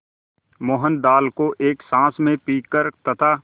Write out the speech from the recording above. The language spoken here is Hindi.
मोहन दाल को एक साँस में पीकर तथा